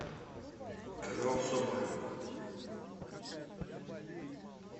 канал соболева